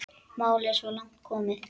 Málið er svo langt komið.